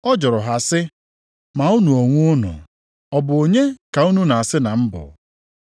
Ọ jụrụ ha sị, “Ma unu onwe unu, ọ bụ onye ka unu na-asị na m bụ?”